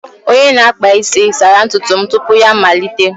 Onye na-akpa isi sara ntutu m tupu ya amalite